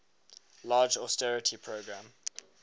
large austerity program